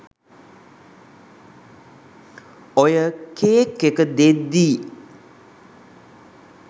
ඔය කේක් එක දෙද්දි